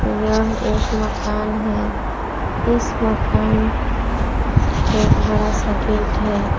यह एक मकान है इस मकान एक बड़ासा गेट है।